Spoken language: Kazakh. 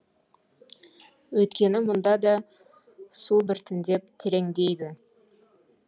өйткені мұнда да су біртіндеп тереңдейді